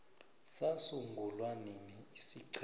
sasungulwa nini isiqhema